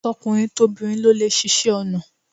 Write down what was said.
Tokunrin tobinrin ló lè ṣiṣe onà